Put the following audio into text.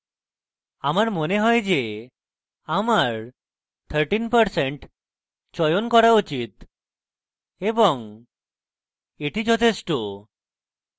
আমার মনে হয় আমার 13% চয়ন করা উচিত এবং এটি যথেষ্ঠ